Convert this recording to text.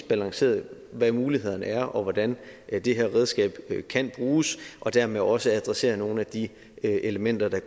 balanceret hvad mulighederne er og hvordan det her redskab kan bruges og dermed også adresseret nogle af de elementer der